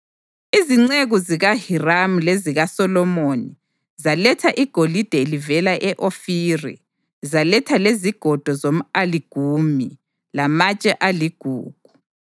(Izinceku zikaHiramu lezikaSolomoni zaletha igolide livela e-Ofiri; zaletha lezigodo zomʼaligumu lamatshe aligugu.